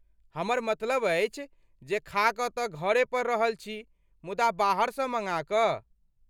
हमर मतलब अछि जे खा तऽ घरे पर रहल छी मुदा बाहरसँ मँगा कऽ।